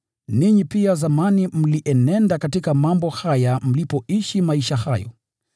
Ninyi pia zamani mlienenda katika mambo haya mlipoishi maisha hayo.